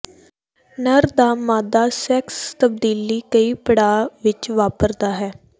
ਨਰ ਦਾ ਮਾਦਾ ਸੈਕਸ ਤਬਦੀਲੀ ਕਈ ਪੜਾਅ ਵਿੱਚ ਵਾਪਰਦਾ ਹੈ